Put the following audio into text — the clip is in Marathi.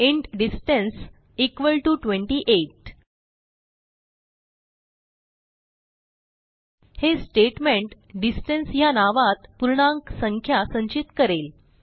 इंट डिस्टन्स इक्वॉल टीओ 28 हे स्टेटमेंट डिस्टन्स ह्या नावात पूर्णांक संख्या संचित करेल